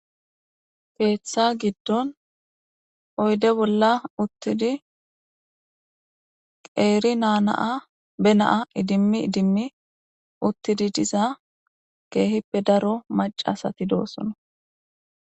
keeththa giddon oyde bolla uttidi qeeri naanaa be naa idimmi idimmi uttidi diza geehippe daro macasati doosono